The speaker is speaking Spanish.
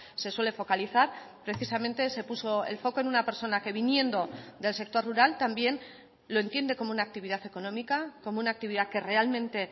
se suele focalizar precisamente se puso el foco en una persona que viniendo del sector rural también lo entiende como una actividad económica como una actividad que realmente